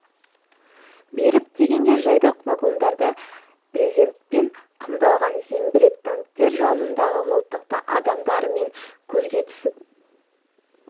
беріп дегенде жайдақ вагондарда брезентпен қымталған зеңбірек танктер жанындағы мылтықты адамдарымен көзге түсіп онан